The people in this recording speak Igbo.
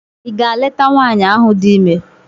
Ị gaa leta Nwaanyị ahụ di ime?